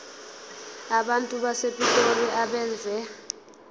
abantu basepitoli abeve